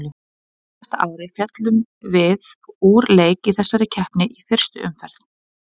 Á síðasta ári féllum við úr leik í þessari keppni í fyrstu umferð.